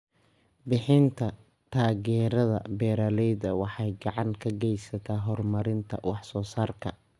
Bixinta taageerada beeralayda waxay gacan ka geysataa horumarinta wax soo saarka.